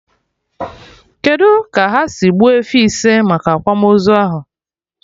Kedụ ka ha si gbuo efi ise maka akwamozu ahụ?